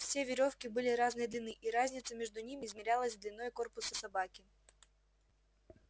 все верёвки были разной длины и разница между ними измерялась длиной корпуса собаки